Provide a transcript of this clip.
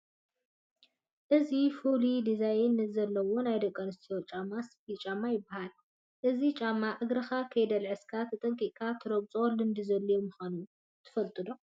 እዚ ፍሉይ ዲዛይን ዘለዎ ናይ ደቂ ኣንስትዮ ጫማ ስፒል ጫማ ይበሃል፡፡ እዚ ጫማ እግርኻ ከይድልዕሰካ ተጠንቂቕካ ትረግፆን ልምዲ ዘድልዮን ምዃኑ ትፈልጡ ዶ?